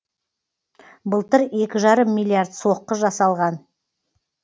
былтыр екі жарым миллиард соққы жасалған